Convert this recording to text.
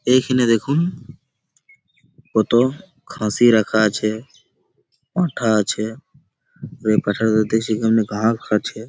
এইখিনে দেখুন কতো খাঁসি রাখা আছে পাঁঠা আছে দেখছি এখানে গাহক আছে ।